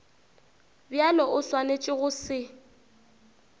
bjalo o swanetše go se